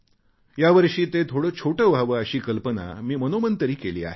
यावर्षी ते थोडे छोटे व्हावे अशी कल्पना मी मनोमन तरी केली आहे